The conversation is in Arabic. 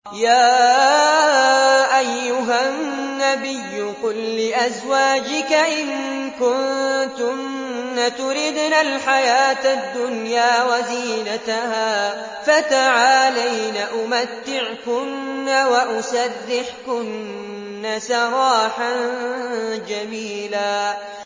يَا أَيُّهَا النَّبِيُّ قُل لِّأَزْوَاجِكَ إِن كُنتُنَّ تُرِدْنَ الْحَيَاةَ الدُّنْيَا وَزِينَتَهَا فَتَعَالَيْنَ أُمَتِّعْكُنَّ وَأُسَرِّحْكُنَّ سَرَاحًا جَمِيلًا